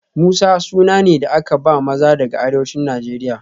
Musa suna ne da aka ba maza daga arewacin Najeriya